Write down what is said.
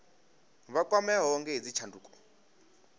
vha kwameaho nga hedzi tshanduko